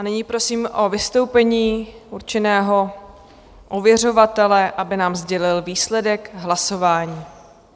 A nyní prosím o vystoupení určeného ověřovatele, aby nám sdělil výsledek hlasování.